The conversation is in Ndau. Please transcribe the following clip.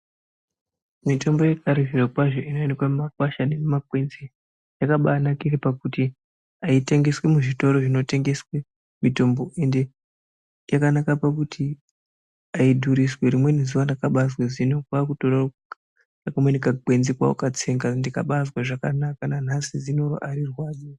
Mitombo yekare zvirokwazvo inooneke mumakwasha nemumakwenzi yakabanakire kuti haitengeswi muzvitoro zvinotengeswe mitombo ende yakanaka pakuti haidhuriswi. Rimweni zuwa ndakazwa zino asi hino kwakutore kamweni kagwenzi kwakukatsenga ndikabazwe zvakanaka nanhasi zino arirwadzi.